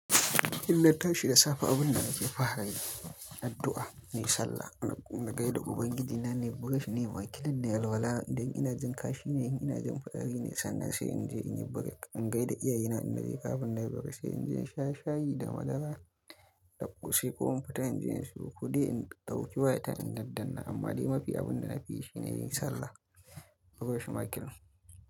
Idan na tashi da safe, abin da nake fara yi, addu'a, na yi sallah, na gaida Ubangiji na nayi brush na yi Makilin nayi alwala idan ina jin kashi ne, idan ina jin fitsari ne sannan sai in je in yi break, in gaida iyayena, idan naje kafin na yi brush sai in je in sha shayi da madara, takusi ko in fita in je in sayo kuɗi in ɗauki wayata in yarda na. Amma dai mafi abin da nafi yi shine yin sallah koyau she ma kenan.